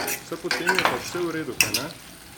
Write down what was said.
Saj potem je pa vse v redu, kajne?